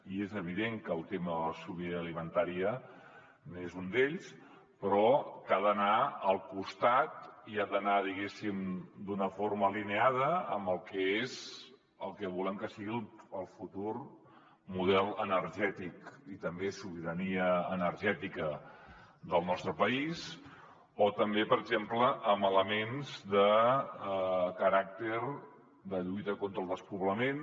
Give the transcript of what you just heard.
i és evident que el tema de la sobirania alimentària és un d’ells però que ha d’anar al costat i ha d’anar diguéssim d’una forma alineada amb el que és el que volem que sigui el futur model energètic i també la sobirania energètica del nostre país o també per exemple amb elements de caràcter de lluita contra el despoblament